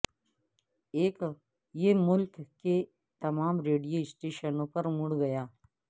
یہ ملک کے تمام ریڈیو سٹیشنوں پر مڑ گیا